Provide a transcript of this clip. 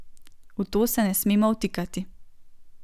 V to se ne smemo vtikati.